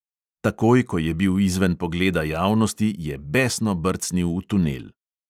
Takoj, ko je bil izven pogleda javnosti, je besno brcnil v tunel.